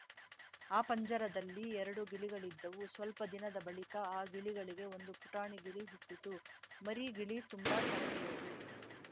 ಆ ಪಂಜರದಲ್ಲಿ ಎರಡು ಗಿಳಿಗಳಿದ್ದವು ಸ್ವಲ್ಪ ದಿನದ ಬಳಿಕ ಆ ಗಿಳಿಗಳಿಗೆ ಒಂದು ಪುಟಾಣಿ ಗಿಳಿ ಹುಟ್ಟಿತು ಮರಿ ಗಿಳಿ ತುಂಬಾ ತರಲೆಯದು